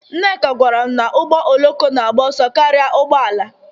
Nneka gwara m na ụgbọ oloko na-agba ọsọ karịa ụgbọ ala